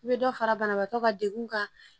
I bɛ dɔ fara banabaatɔ ka degun kan